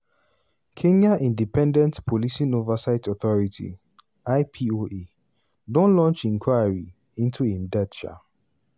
kenya independent policing oversight authority (ipoa) don launch inquiry into im death. um